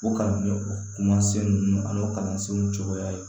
O kalan ni o kumasen ninnu ani kalansenw cogoya ye